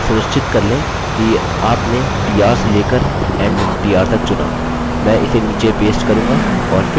अतः सुनिश्चित कर लें कि आपने t r से लेकर end t r तक चुना